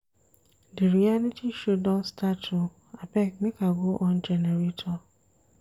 Di reality show don start o abeg make I go on generator.